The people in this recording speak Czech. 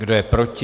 Kdo je proti?